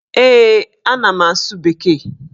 Ee, ana m asụ bekee.